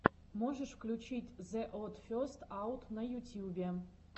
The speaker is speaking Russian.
можешь включить зе од фестс аут на ютьюбе